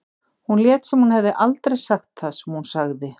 Hún lét sem hún hefði aldrei sagt það sem hún sagði.